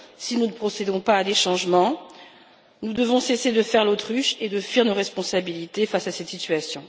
Si nous ne procédons pas à des changements, nous devons cesser de faire l'autruche et de fuir nos responsabilités face à cette situation.